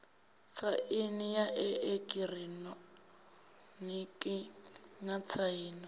tsaini ya eekihironiki na tsaino